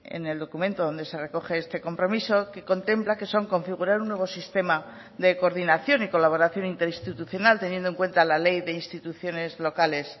en el documento donde se recoge este compromiso que contempla que son configurar un nuevo sistema de coordinación y colaboración interinstitucional teniendo en cuenta la ley de instituciones locales